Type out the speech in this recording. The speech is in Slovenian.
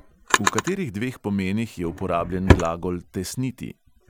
V katerih dveh pomenih je uporabljen glagol tesniti?